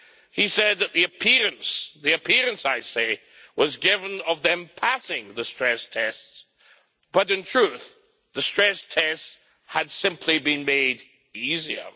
He said that the appearance the appearance, I say was given of them passing the stress tests, but in truth the stress tests had simply been made easier.